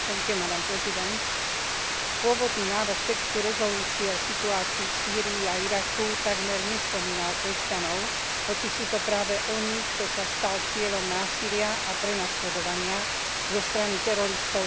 Pôvodný návrh textu rezolúcie o situácii v Sýrii a Iraku takmer nespomínal kresťanov, hoci sú to práve oni, kto sa stal cieľom násilia a prenasledovania zo strany teroristov tzv. Islamského štátu.